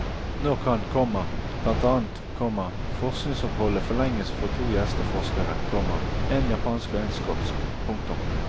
Nå kan, komma blant annet, komma forskningsoppholdet forlenges for to gjesteforskere, komma en japansk og en skotsk. punktum